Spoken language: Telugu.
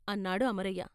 " అన్నాడు అమరయ్య..